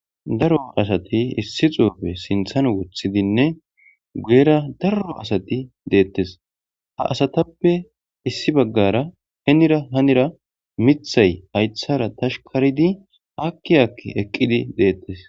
Daro asati issi xufe sinththan woththidinne guyera daro asati dettes ha asatappe issi bagara henira hanira miththay hayiththara toshikorid aki aki eqidi detes